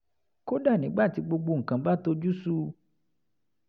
kódà nígbà tí gbogbo nǹkan bá tojú sú u